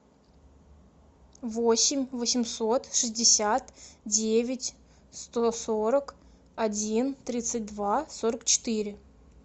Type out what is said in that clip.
восемь восемьсот шестьдесят девять сто сорок один тридцать два сорок четыре